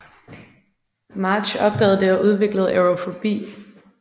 Marge opdagede det og udviklede aerofobi